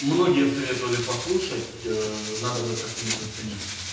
многие советовали послушать надо бы как-нибудь заценить